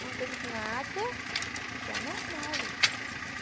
Não teve nada de anormal ali.